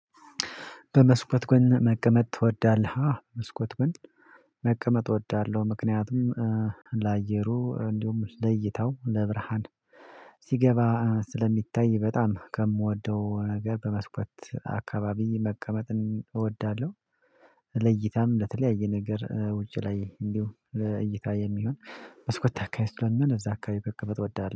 በመስኮት ጎን መቀመጥ ትወዳለህ? መስኮት ጎን መቀመጥ እወዳለሁ። ምክንያቱም ላየሩ እንዲሁም ለይተው ለብርሃን ሲገባ ስለሚታይ በጣም ከምወደው ነገር በመስኮት አካባቢ መቀመጥን እወዳለሁ። ለይታም ለተለያየ ነገር ውጪ ላይ እንዲሁ እይታ የሚሆን በስኮት አካሄድ ስለምን እዛ አካሄድ ከቀበት እወዳለሁ